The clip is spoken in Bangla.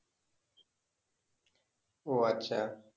ও আচ্ছা